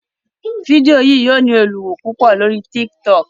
Fidio yí yíò ní olùwo púpọ lórí TikTok